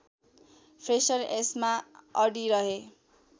Fraser यसमा अडिरहे